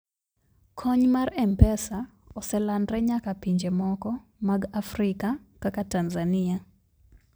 kony mar mpesa oselandre nyaka pinje moko mag africa kaka tanzania